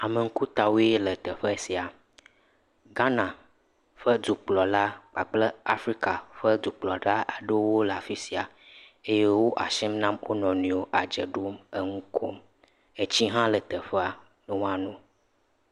Ame ŋkutawoe le teƒe sia, Ghana ƒe dukplɔla kpakple Afrika ƒe dukplɔlawoe le afi sia, eye wo asi nam wo nɔnɔewo eye wo adze ɖom enu kom etsi hã le teƒe woano.